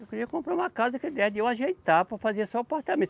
Eu queria comprar uma casa que desse de eu ajeitar para fazer só apartamento.